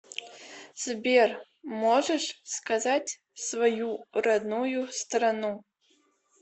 сбер можешь сказать свою родную страну